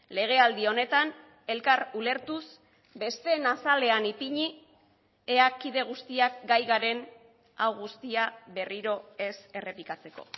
legealdi honetan elkar ulertuz besteen azalean ipini ea kide guztiak gai garen hau guztia berriro ez errepikatzeko